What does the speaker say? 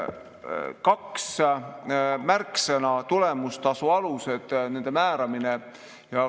Kaks märksõna: tulemustasu alused ja nende määramine.